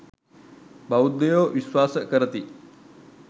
බෞද්ධයෝ විශ්වාස කරති.